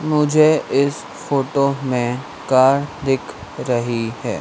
मुझे इस फोटो में कार दिख रही है।